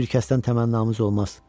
Heç bir kəsdən təmənnamız olmaz.